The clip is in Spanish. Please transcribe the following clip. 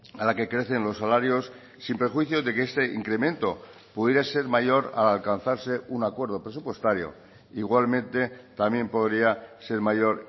a la que crecen los salarios sin prejuicio de que este incremento pudiera ser mayor al alcanzarse un acuerdo presupuestario igualmente también podría ser mayor